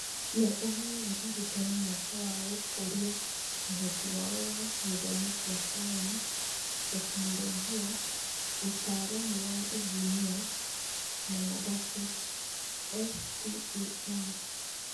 Nĩ ĩheaga arutani mweke wa gũkũria ũhoti wao wa gĩthomo kĩa Sayansi, Tekinoronjĩ, ūtaaramu wa Injiniai na Mathabu (STEM).